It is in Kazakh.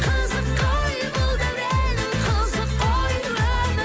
қызық қой бұл дәурен қызық қой өмір